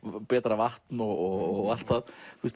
betra vatn og allt það